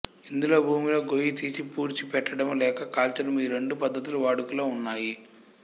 ఇందులో భూమిలో గొయ్యి తీసి పూడ్చి పెట్టడము లేక కాల్చడము ఈ రెండు పద్ధతులు వాడుకలో ఉన్నాయి